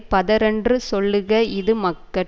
பதரென்று சொல்லுக இது மக்கட்